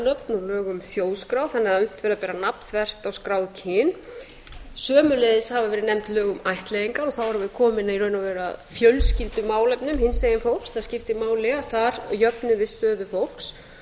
að unnt verði að bera nafn þvert á skráð kyn einnig hafa verið nefnd lög um ættleiðingar og þá erum við komin í raun og veru að fjölskyldumálefnum hinsegin fólks það skiptir máli að þar jöfnum stöðu fólks